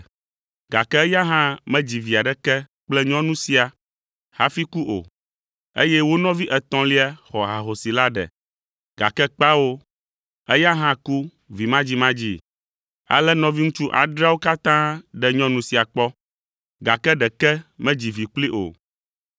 Gake eya hã medzi vi aɖeke kple nyɔnu sia hafi ku o, eye wo nɔvi etɔ̃lia xɔ ahosi la ɖe, gake kpao, eya hã ku vimadzimadzii. Ale nɔviŋutsu adreawo katã ɖe nyɔnu sia kpɔ, gake ɖeke medzi vi kplii o.